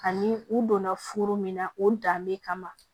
Ani u donna furu min na o danbe kama